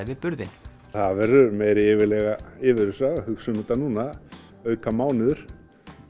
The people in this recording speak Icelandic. við burðinn það verður meiri yfirlega yfirlega að hugsa um þetta núna auka mánuður